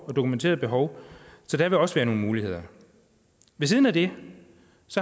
og dokumenteret behov så der vil også være nogle muligheder ved siden af det